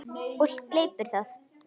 Og gleypir það.